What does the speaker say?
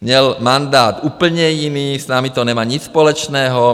Měl mandát úplně jiný, s námi to nemá nic společného.